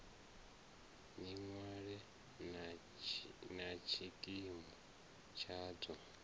ni ṅwale na tshikimu tshadzo